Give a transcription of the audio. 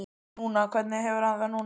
En núna, hvernig hefur hann það núna?